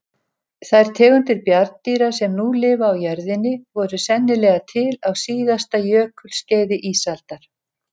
Þær tegundir bjarndýra sem nú lifa á jörðinni voru sennilega til á síðasta jökulskeiði ísaldar.